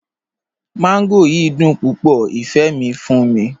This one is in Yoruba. Mangò yiì dùn púpọ̀, ifẹ́ mi fún mi.